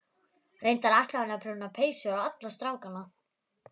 Reyndar ætlaði hún að prjóna peysur á alla strákana